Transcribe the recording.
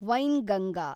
Wainganga